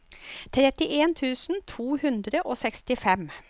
trettien tusen to hundre og sekstifem